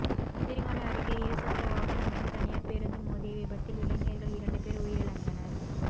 சீர்காழி அருகே இரு சக்கர வாகனம் மீது தனியார் பேருந்து மோதிய விபத்தில் இளைஞர்கள் இரண்டு பேர் உயிரிழந்தனர்